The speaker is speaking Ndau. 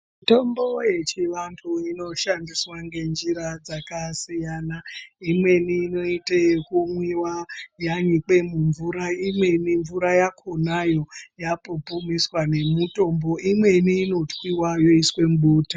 Mitombo yechivantu inoshandiswa ngenjira dzakasiyana. Imweni inoite yekumwiwa yanyikwe mumvura, imweni mvura yakonayo yapupumiswa nemutombo. Imweni inotwiwa yoiswe mubota.